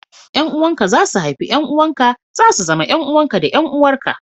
Yan uwanka za su haifu 'ƴan uwanka, za su zama 'yan uwanka da 'yan uwarka